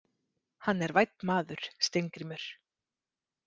Hann er vænn maður, Steingrímur.